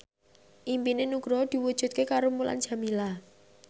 impine Nugroho diwujudke karo Mulan Jameela